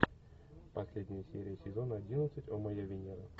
последняя серия сезона одиннадцать о моя венера